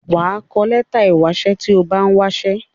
wà á kọ ìwé ìwásẹ́ tí o bá n̄ wásẹ́.